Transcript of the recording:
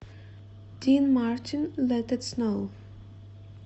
дин мартин лет ит сноу